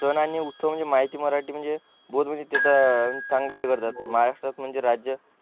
सण आणि उत्सव म्हणजे म्हायती मराठी म्हणजे चांगलाच हे करतात महाराष्ट्रात म्हणजे राज्य